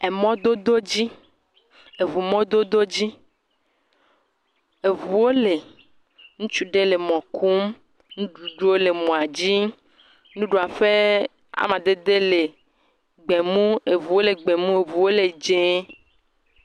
Emɔdododzi. Eŋu mɔdododzi. Eŋuwo le. Ŋutsu aɖe le mɔ kum. Nuɖuɖuwo le mɔdzi. Nuɖuɖuɔ ƒe amadede le gbemu. Eŋuwo le gbemu, eŋuwo le dzẽe